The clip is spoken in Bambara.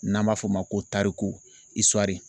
N'an b'a f'o ma ko tariku